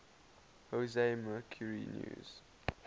jose mercury news